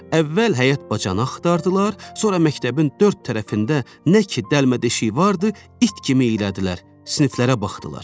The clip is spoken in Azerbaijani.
Əvvəl həyət-bacanı axtardılar, sonra məktəbin dörd tərəfində nə ki dəlmə-deşiyi vardı, it kimi eylədilər, siniflərə baxdılar.